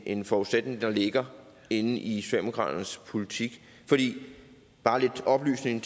en forudsætning der ligger i i socialdemokraternes politik bare til oplysning